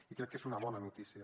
i crec que és una bona notícia